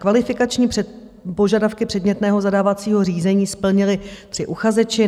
Kvalifikační požadavky předmětného zadávacího řízení splnili tři uchazeči.